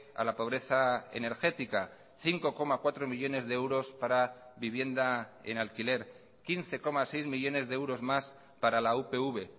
a la pobreza energética cinco coma cuatro millónes de euros para vivienda en alquiler quince coma seis millónes de euros más para la upv